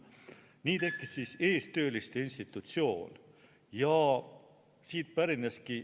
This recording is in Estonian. Nii tekkis eestööliste institutsioon.